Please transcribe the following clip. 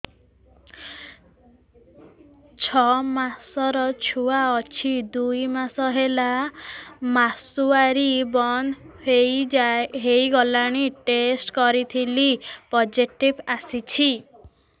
ଛଅ ମାସର ଛୁଆ ଅଛି ଦୁଇ ମାସ ହେଲା ମାସୁଆରି ବନ୍ଦ ହେଇଗଲାଣି ଟେଷ୍ଟ କରିଥିଲି ପୋଜିଟିଭ ଆସିଛି